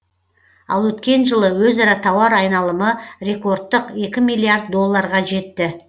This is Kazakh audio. ал өткен жылы өзара тауар айналымы рекордтық екі миллиард долларға жетті